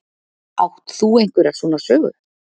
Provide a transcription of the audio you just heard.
Átt þú einhverjar svona sögu?